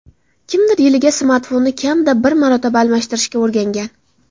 Kimdir yiliga smartfonni kamida bir marotaba almashtirishga o‘rgangan.